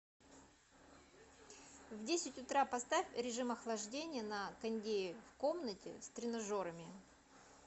в десять утра поставь режим охлаждения на кондее в комнате с тренажерами